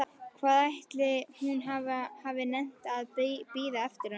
Hvað ætli hún hafi nennt að bíða eftir honum!